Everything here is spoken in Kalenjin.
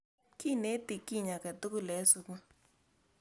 kineti kiny aketukul en sukul